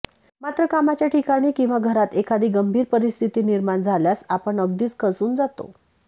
मात्र कामाच्या ठिकाणी किंवा घरात एखादी गंभीर परिस्थिती निर्माण झाल्यास आपण अगदीच खचून जातो